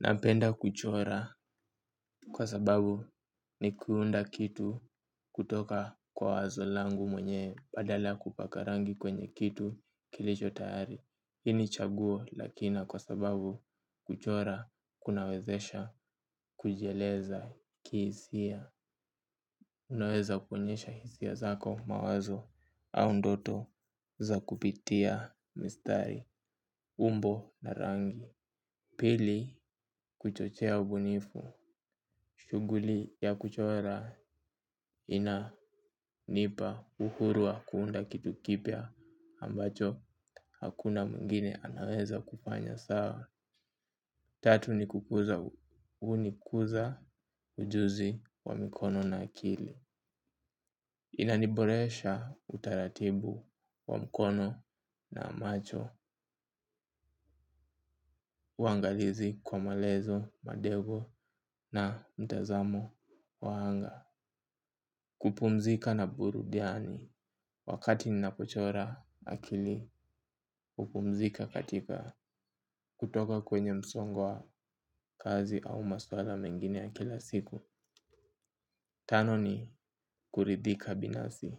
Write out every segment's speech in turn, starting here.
Napenda kuchora kwa sababu ni kuunda kitu kutoka kwa wazo langu mwenyewe badala ya kupaka rangi kwenye kitu kilicho tayari hii ni chaguo la kina kwa sababu kuchora kunawezesha kujieleza kihisia unaweza kuonyesha hisia zako mawazo au ndoto za kupitia mistari umbo na rangi pili kuchochea ubunifu shughuli ya kuchora inanipa uhuru wa kuunda kitu kipya ambacho hakuna mwingine anaweza kufanya sawa tatu ni kukuza hunikuza ujuzi wa mikono na akili inaniboresha utaratibu wa mkono na macho uangalizi kwa malezo madego na mtazamo wa anga kupumzika na burudiani wakati ninapochora akili hupumzika katika kutoka kwenye msongo wa kazi au maswala mengine ya kila siku tano ni kuridhika binafsi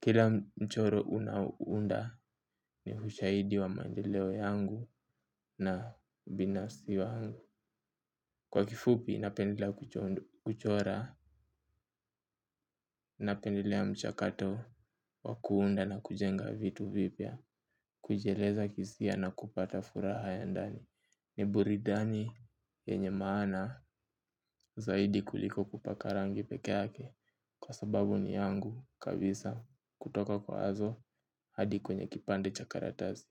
kila mchoro unaunda ni ushahidi wa maendeleo yangu na ubinafsi wangu kwa kifupi napendelea kuchora napendelea muchakato wa kuunda na kujenga vitu vipya kujieleza kihisia na kupata furaha ya ndani ni burudani yenye maana zaidi kuliko kupaka rangi pekee yaake kwa sababu ni yangu kabisa kutoka kwa wazo hadi kwenye kipande cha karatasi.